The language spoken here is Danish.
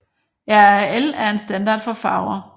RAL er en standard for farver